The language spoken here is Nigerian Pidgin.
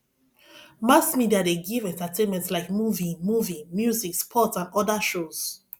mass media de give entertainment like movie movie music sports and other shows